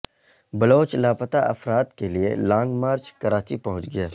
بلوچ لاپتہ افراد کے لیے لانگ مارچ کراچی پہنچ گیا